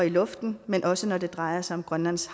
luften men også når det drejer sig om grønlands